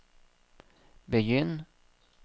begynn